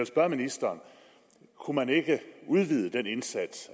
spørge ministeren kunne man ikke udvide den indsats